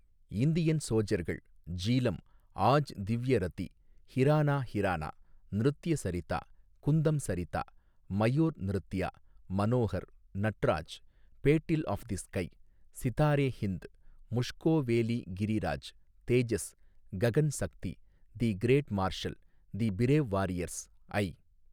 Indian சோஜர்கள், ஜீலம், ஆஜ் திவ்ய ரதி, ஹிரானா ஹிரானா, நிருத்ய சரிதா, குந்தம் Sarita, Mayur Nritya, Manohar, Natraj, battle of the sky, Sitare Hind, Mushkoh valley Giri Raj, Tejas, Gagan Shakti, the great marshal, the brave warriors, I.